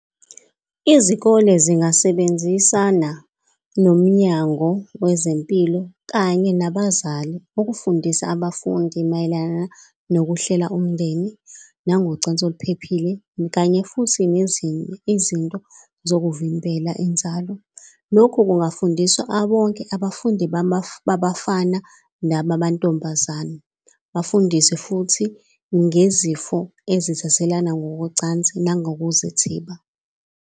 Izikole zingasebenzisana nomnyango wezempilo kanye nabazali, ukufundisa abafundi mayelana nokuhlela umndeni nangicansi oluphephile, kanye futhi nezinye izinto zokuvimbela inzalo. Lokhu kungafundiswa bonke abafundi babafana nabamantombazane. Bafundiswe futhi ngezifo ezithathelana ngokocansi nangokuzithiba.